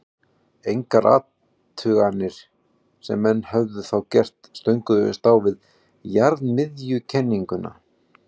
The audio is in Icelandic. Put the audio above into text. engar athuganir sem menn höfðu þá gert stönguðust á við jarðmiðjukenninguna